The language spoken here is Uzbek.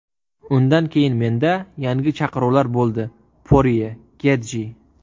Undan keyin menda yangi chaqiruvlar bo‘ldi Porye, Getji.